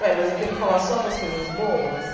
Ué, mas eu tenho que falar só das coisas boas?